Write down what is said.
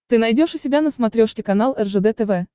ты найдешь у себя на смотрешке канал ржд тв